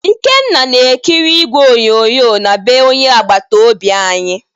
Ikenna na-ekiri igwe onyonyo na bee onye agbata obi anyị